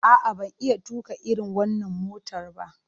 A'a, ban iya tuƙa irin wannan motar ba.